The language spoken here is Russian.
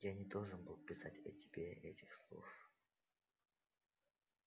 я не должен был писать о тебе этих слов